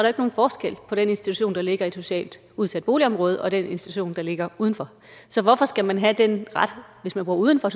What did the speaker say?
ikke nogen forskel på den institution der ligger i et socialt udsat boligområde og den institution der ligger udenfor så hvorfor skal man have den ret hvis man bor uden for